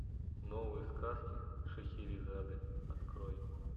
новые сказки шахерезады открой